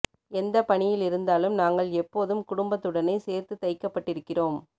எந்தப் பணியிலிருந்தாலும் நாங்கள் எபொதும் குடும்பத்துடனே சேர்த்து தைக்கப்ட்டிருக்கிறோம்